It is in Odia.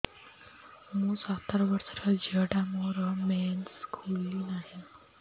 ମୁ ସତର ବର୍ଷର ଝିଅ ଟା ମୋର ମେନ୍ସେସ ଖୁଲି ନାହିଁ